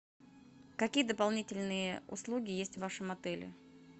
какие дополнительные услуги есть в вашем отеле